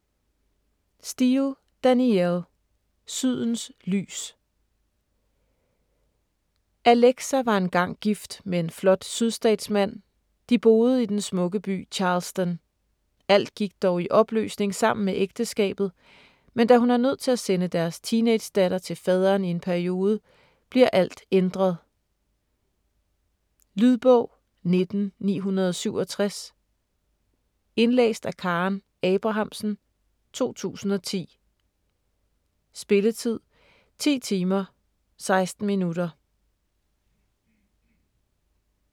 Steel, Danielle: Sydens lys Alexa var engang gift med en flot sydstatsmand, de boede i den smukke by Charleston. Alt gik dog i opløsning sammen med ægteskabet, men da hun er nødt til at sende deres teenagedatter til faderen i en periode bliver alt ændret. Lydbog 19967 Indlæst af Karen Abrahamsen, 2010. Spilletid: 10 timer, 16 minutter.